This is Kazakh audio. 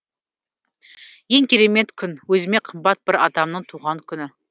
ең керемет күн өзіме қымбат бір адамның туған күні